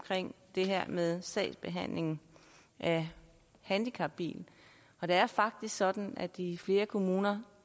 det her med sagsbehandlingen af handicapbil og det er faktisk sådan at i flere kommuner